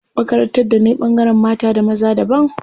Makarantar da nayi ɓangaren mata da maza daban.